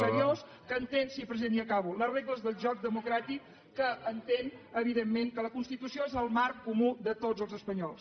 seriós que entén sí president ja acabo les regles del joc democràtic que entén evidentment que la constitució és el marc comú de tots els espanyols